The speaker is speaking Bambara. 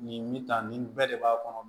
Nin bi tan nin bɛɛ de b'a kɔnɔ